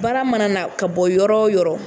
Baara mana na ka bɔ yɔrɔ o yɔrɔ